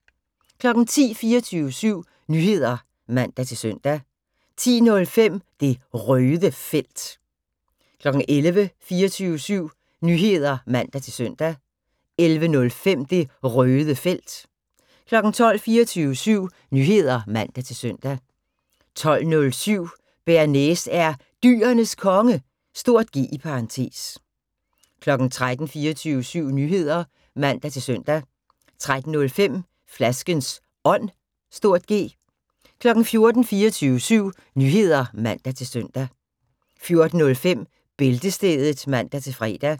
10:00: 24syv Nyheder (man-søn) 10:05: Det Røde Felt 11:00: 24syv Nyheder (man-søn) 11:05: Det Røde Felt 12:00: 24syv Nyheder (man-søn) 12:07: Bearnaise er Dyrenes Konge (G) 13:00: 24syv Nyheder (man-søn) 13:05: Flaskens Ånd (G) 14:00: 24syv Nyheder (man-søn) 14:05: Bæltestedet (man-fre)